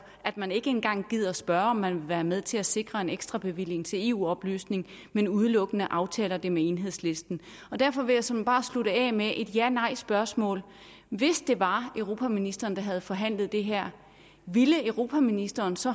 at man ikke engang gider at spørge om man vil være med til at sikre en ekstra bevilling til eu oplysning men udelukkende aftaler det med enhedslisten derfor vil jeg såmænd bare slutte af med et janejspørgsmål hvis det var europaministeren der havde forhandlet det her ville europaministeren så